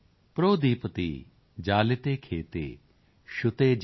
ਪ੍ਰੋਦੀਪਤੀ ਜਾਲਿਤੇ ਖੇਤੇ ਸ਼ੁਤੇ ਜੇਤੇ